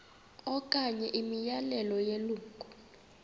okanye imiyalelo yelungu